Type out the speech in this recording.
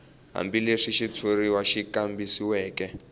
hambileswi xitshuriwa xi kambisisiweke